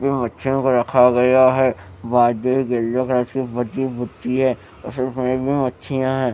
यह बच्चों पर रखा गया है मछियां है।